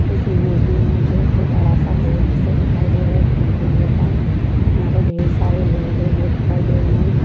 इस इमेज मे मुझे एक बड़ा सा हॉल जैसा दिखाई दे रहा है एक मंदिर जहां यहां पे ढ़ेर सारे लोग हैं वो दिखाई दे रहे है।